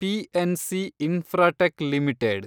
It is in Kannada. PNC Infratech limited